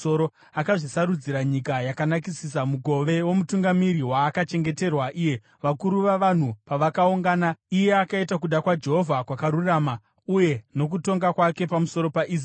Akazvisarudzira nyika yakanakisisa; mugove womutungamiri waakachengeterwa iye. Vakuru vavanhu pavakaungana, iye akaita kuda kwaJehovha kwakarurama, uye nokutonga kwake pamusoro paIsraeri.”